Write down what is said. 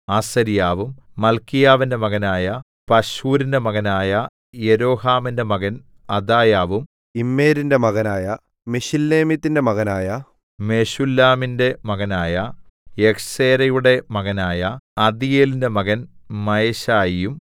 അസര്യാവും മല്ക്കീയാവിന്റെ മകനായ പശ്ഹൂരിന്റെ മകനായ യെരോഹാമിന്റെ മകൻ അദായാവും ഇമ്മേരിന്റെ മകനായ മെശില്ലേമീത്തിന്റെ മകനായ മെശുല്ലാമിന്റെ മകനായ യഹ്സേരയുടെ മകനായ അദീയേലിന്റെ മകൻ മയശായിയും